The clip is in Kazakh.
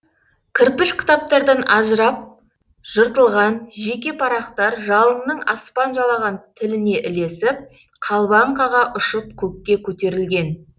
кірпіш кітаптардан ажырап жыртылған жеке парақтар жалынның аспан жалаған тіліне ілесіп қалбаң қаға ұшып көкке көтерілген